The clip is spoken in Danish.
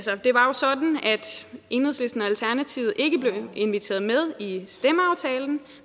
enhedslisten og alternativet ikke blev inviteret med i stemmeaftalen